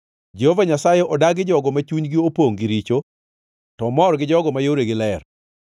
Jehova Nyasaye odagi jogo ma chunygi opongʼ gi richo, to omor gi jogo ma yoregi ler.